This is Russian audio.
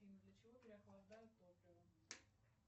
афина для чего переохлаждают топливо